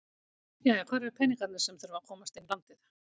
Jæja hvar eru peningarnir sem að þurfa að komast inn í landið?